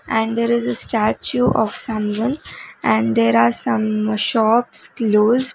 and there is a statue of someone and there are some shops close.